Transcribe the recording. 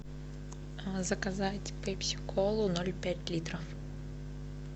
заказать пепси колу ноль пять литров